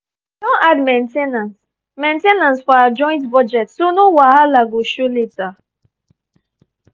we don add main ten ance main ten ance for our joint budget so no wahala go show later.